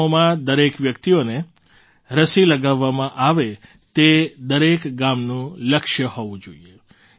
ગામોમાં દરેક વ્યક્તિને રસી લગાવવામાં આવે તે દરેક ગામનું લક્ષ્ય હોવું જોઈએ